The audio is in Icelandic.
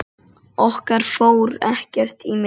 Okkar fór ekkert í milli.